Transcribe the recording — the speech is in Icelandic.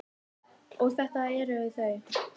Og þetta eru þau.